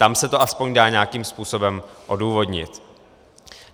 Tam se to aspoň dá nějakým způsobem odůvodnit.